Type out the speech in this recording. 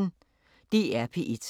DR P1